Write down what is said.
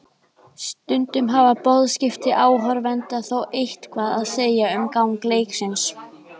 Stundum hafa boðskipti áhorfenda þó eitthvað að segja um gang leiksins.